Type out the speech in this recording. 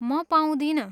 म पाउँदिनँ।